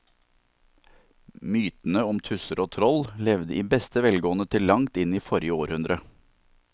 Mytene om tusser og troll levde i beste velgående til langt inn i forrige århundre.